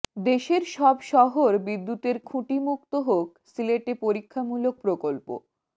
দেশের সব শহর বিদ্যুতের খুঁটিমুক্ত হোক সিলেটে পরীক্ষামূলক প্রকল্প